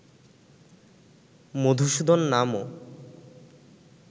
মধুসূদন নামও